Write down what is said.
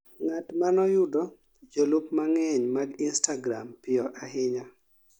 ng'atma noyudo jolup mang'eny mag instagram piyo ahinya